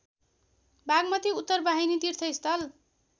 बागमती उत्तरवाहिनी तीर्थस्थल